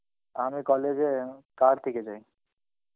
আমি college এ car থিকে যাই.